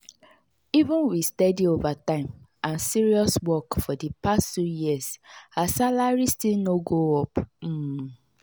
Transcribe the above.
even with steady overtime and serious work for the past two years her salary still no go up. um